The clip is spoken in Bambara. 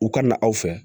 U ka na aw fɛ